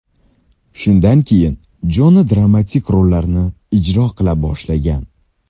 Shundan keyin Jona dramatik rollarni ijro qila boshlagan.